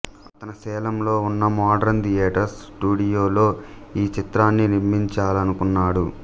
అతను సేలంలో ఉన్న మోడరన్ థియేటర్స్ స్టుడియోలో ఈ చిత్రాన్ని నిర్మించాలనుకున్నాడు